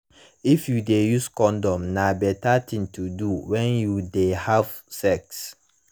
if you de use condom na better thing to do when you de have sex